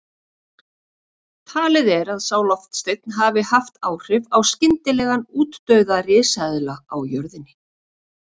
Talið er að sá loftsteinn hafi haft áhrif á skyndilegan útdauða risaeðla á jörðinni.